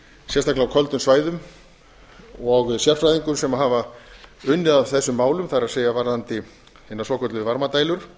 sérstaklega á köldum svæðum og sérfræðingum sem hafa unnið að þessum málum það er varðandi hina svokölluðu varmadælur